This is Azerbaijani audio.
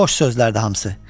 Boş sözlərdi hamısı.